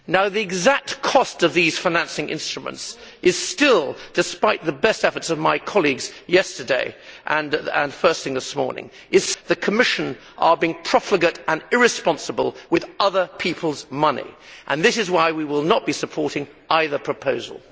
The exact cost of these financing instruments is still unknown, despite the best efforts of my colleagues yesterday and first thing this morning. The Commission is, once again, being profligate and irresponsible with other people's money and this is why we will not be supporting either proposal.